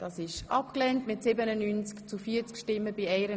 Sie haben die Abschreibung abgelehnt.